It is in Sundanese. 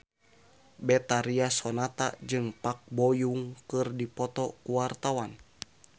Betharia Sonata jeung Park Bo Yung keur dipoto ku wartawan